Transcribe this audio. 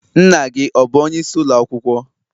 Nna gi ọ bu onye isi ulo akwukwo?